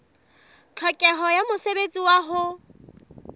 tlhokeho ya mosebetsi wa ho